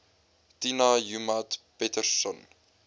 tina joemat pettersson